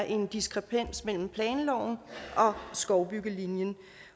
en diskrepans mellem planloven og skovbyggelinjen